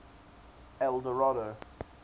eldorado